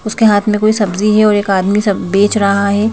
उसके हाथ में कोई सब्जी है और एक आदमी बेच रहा है।